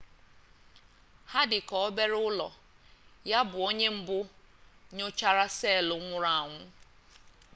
ha dị ka obere ụlọ ya bụ onye mbụ nyochara seelụ nwụrụ anwụ